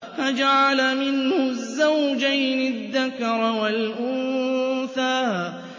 فَجَعَلَ مِنْهُ الزَّوْجَيْنِ الذَّكَرَ وَالْأُنثَىٰ